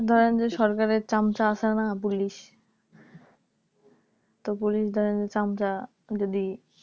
ধরেন যে সরকার এর চামচ আছে না Police Police ধরেন যে চামচা যদি